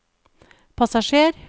passasjer